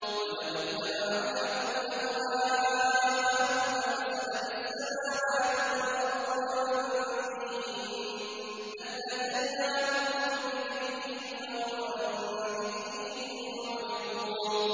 وَلَوِ اتَّبَعَ الْحَقُّ أَهْوَاءَهُمْ لَفَسَدَتِ السَّمَاوَاتُ وَالْأَرْضُ وَمَن فِيهِنَّ ۚ بَلْ أَتَيْنَاهُم بِذِكْرِهِمْ فَهُمْ عَن ذِكْرِهِم مُّعْرِضُونَ